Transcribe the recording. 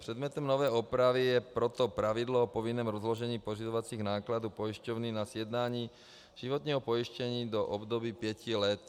Předmětem nové úpravy je proto pravidlo o povinném rozložení pořizovacích nákladů pojišťovny na sjednání životního pojištění do období pěti let.